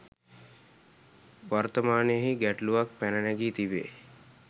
වර්තමානයෙහි ගැටලුවක් පැන නැගී තිබේ.